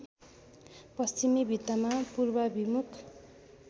पश्चिमी भित्तामा पूर्वाभिमुख